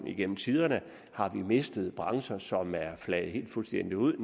igennem tiderne har mistet brancher som er flaget helt fuldstændig ud